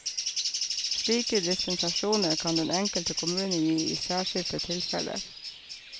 Slike dispensasjoner kan den enkelte kommune gi i særskilte tilfeller.